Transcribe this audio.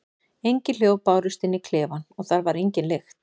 Engin hljóð bárust inn í klefann og þar var engin lykt.